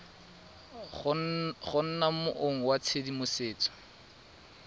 go nna mong wa tshedimosetso